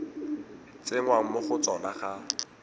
tsenngwang mo go tsona ga